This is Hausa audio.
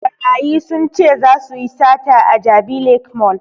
Ɓarayi sun ce zasu yi sata a jabi lake mall